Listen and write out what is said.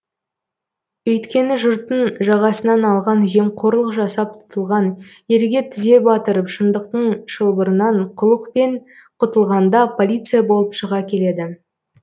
өйткені жұрттың жағасынан алған жемқорлық жасап тұтылған елге тізе батырып шындықтың шылбырынан қулықпен құтылғанда полиция болып шыға келеді